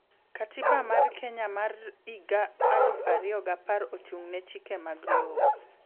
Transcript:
Katiba mar Kenya ma 2010 ochung ne chike mag lowo